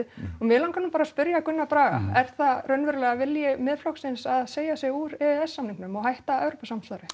og mig langar nú bara að spyrja Gunnar Braga er það raunverulega vilji Miðflokksins að segja sig úr e e s samningnum og hætta Evrópusamstarfi